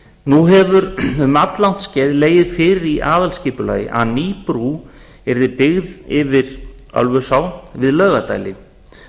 nú hefur um alllangt skeið legið fyrir í aðalskipulagi að ný brú yrði byggð yfir ölfusá við laugardæli